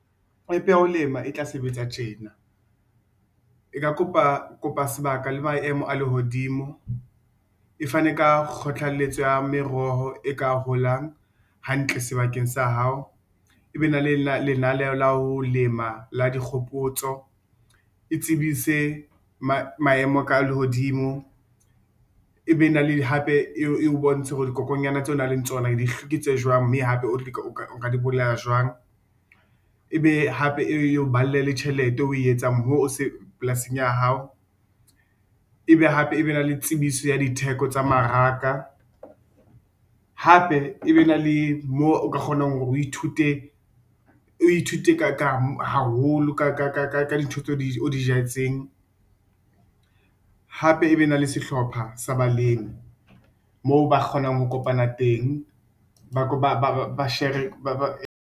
App ya ho lema e tla sebetsa tjena e ka kopa sebaka le maemo a lehodimo e fane ka kgothalletso ya meroho e ka holang hantle sebakeng sa hao. E be na le lenaneo la ho lema la dikgopotso e tsebise maemo a lehodimo, e be na le hape e o bontshe hore dikokonyana tseo o nang le tsona ke tse jwang, mme hape o nka di bolaya jwang, ebe hape e o balle le tjhelete o e etsang polasing ya hao, ebe hape e be na le tsebiso ya ditheko tsa mmaraka. Hape e be na le mo o ka kgonang hore o ithute, o ithute haholo ka dintho tse o di jetseng. Hape e be na le sehlopha sa balemi moo ba kgonang ho kopana teng .